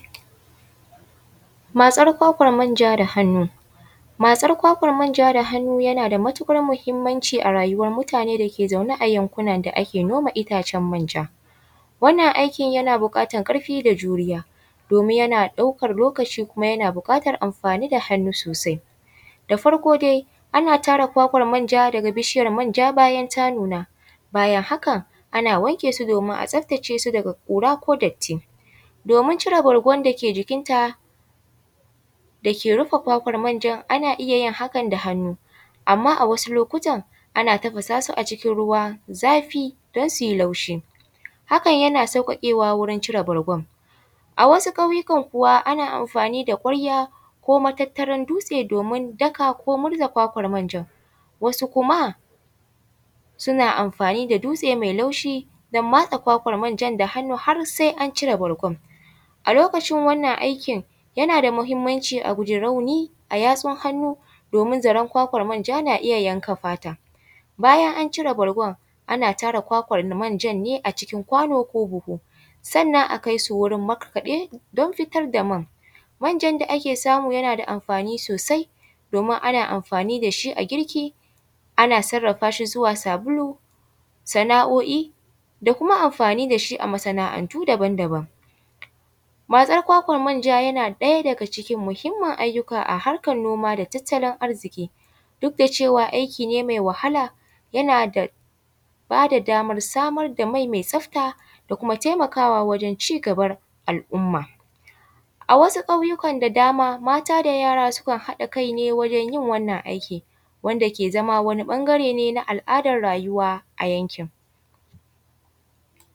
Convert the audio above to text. Matsar kwakwan manja da hannu, matsar kwakwan manja da hannu yana da matukar muhimmanci a rayuwar mutane dake zaune ne a yankunan da ake noma itacen manja, wannan aiki yana bukatar karfi da juriya domin yana ɗaukan lokaci kuma yana bukatar amfani da hannu sosai, da farko dai ana tara kwakwan manja daga bishiyar manja bayan ta nuna bayan haka ana wanke su domin a tsaftace su daga kura ko datti, domin cire bargwan da ke jikin ta da ke rufe kwakwan manjan ana iya yin haka da hannu amma a wasu lokutan ana tafasa su a ciki ruwan zafi don suyi laushi hakan yana saukakewa wajen cire bargwan, a wasu ƙwayukan kuwa ana amfani da kwarya ko matattaran dutse daka ko murza kwakwan manjan wasu kuma suna amfani da dutse mai laushi don matsa kwakwan manjan da hannu har sai an cire bargwan, a lokacin wannan aikin yana da muhimmanci a guja rauni a yatsun hannu domin zaran kwakwan manja na iya yanka fata, bayan an cire bargwan ana tara kwakwan manjan ne a cikin kwano ko buhu sannan akai su wurin makaɗe don fitar da man, manjen da ake samu yana da amfani sosai domin ana amfani da shi a girki ana sarafa shi zuwa sabulu, sana’o’i da kuma amfani da shi a masana’antu daban-daban, matsar kwakwan manja yana ɗaya daga cikin muhimmin ayyuka a harkar noma da tattalin arziki duk da cewa aiki ne mai wahala yana bada samar da mai mai tsafta da kuma taimakawa wajen cigaban al’umma, a wasu ƙauyukan da dama mata da yara sukan haɗa kai wajen yin wannan aikin wanda ke zama wani bangare na al’adar rayuwa a yankin.